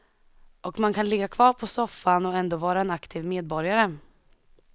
Och man kan ligga kvar på soffan och ändå vara en aktiv medborgare.